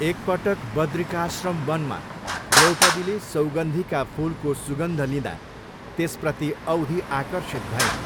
एकपटक बद्रिकाश्रम वनमा द्रौपदीले सौगन्धिका फुलको सुगन्ध लिँदा त्यसप्रति औधी आकर्षित भइन्।